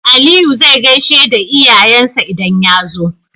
Aliyu zai gaishe da iyayen sa idan yazo